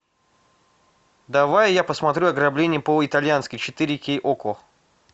давай я посмотрю ограбление по итальянски четыре кей окко